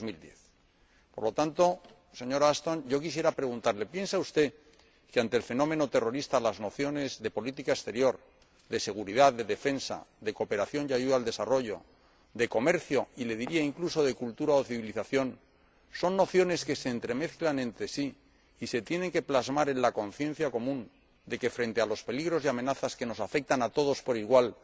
2010. Por tanto, señora Ashton, yo quisiera preguntarle ¿piensa usted que, ante el fenómeno terrorista, las nociones de política exterior, de seguridad, de defensa, de cooperación y ayuda al desarrollo, de comercio, y le diría incluso de cultura o civilización, son nociones que se entremezclan entre sí y se tienen que plasmar en la conciencia común, de que, frente a los peligros y las amenazas que nos afectan a todos por igual,